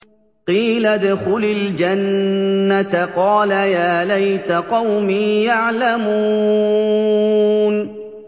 قِيلَ ادْخُلِ الْجَنَّةَ ۖ قَالَ يَا لَيْتَ قَوْمِي يَعْلَمُونَ